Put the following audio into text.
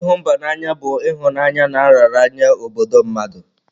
Ihu mba n'anya bu ihunanya na nraranye nye obodo mmadu